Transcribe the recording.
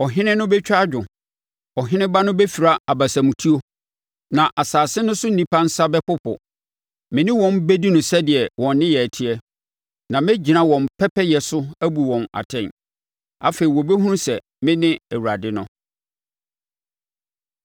Ɔhene no bɛtwa adwo, ɔheneba no bɛfira abasamutuo, na asase no so nnipa nsa bɛpopo. Me ne wɔn bɛdi no sɛdeɛ wɔn nneyɛɛ teɛ, na mɛgyina wɔn pɛpɛyɛ so abu wɔn atɛn. Afei wɔbɛhunu sɛ me ne Awurade no.’ ”